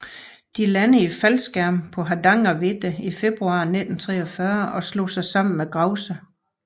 De landede i faldskærm på Hardangervidda i februar 1943 og slog sig sammen med Grouse